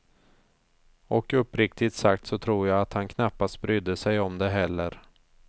Och uppriktigt sagt så tror jag att han knappast brydde sig om det heller.